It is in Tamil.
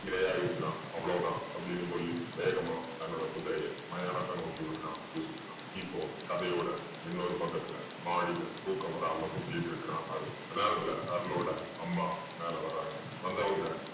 இரையாயிருக்குறான் அவ்வளவு தான் அப்படீன்னு சொல்லி வேகமா தன்னோட குதிரைய மயானத்த நோக்கி விடுறான் யூசுஃப் கான். இப்போ கதையோட இன்னொரு பக்கத்துல மாடில தூக்கம் வராம சுத்தீட்டிருக்குறான் அருள். அந்த நேரத்துல அருளோட அம்மா மேல வர்றாங்க. வந்தவங்க